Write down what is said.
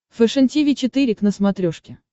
фэшен тиви четыре к на смотрешке